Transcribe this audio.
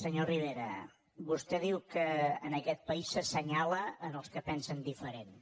senyor rivera vostè diu que en aquest país s’assenyala els que pensen diferent